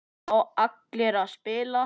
Fá allir að spila?